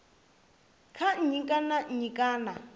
kha nnyi kana nnyi kana